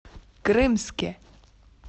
крымске